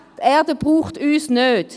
Die Erde braucht uns nicht.